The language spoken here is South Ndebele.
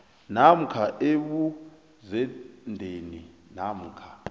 namkha ebuzendeni namkha